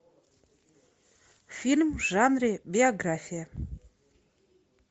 фильм в жанре биография